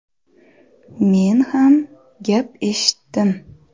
Men ham gap eshitdim.